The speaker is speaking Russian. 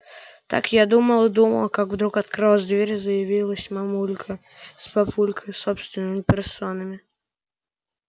так я думала-думала как вдруг открылась дверь и заявились мамулька с папулькой собственными персонами